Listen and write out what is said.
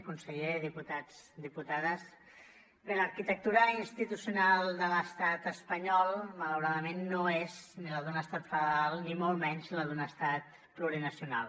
conseller diputats diputades bé l’arquitectura institucional de l’estat espanyol malauradament no és ni la d’un estat federal ni molt menys la d’un estat plurinacional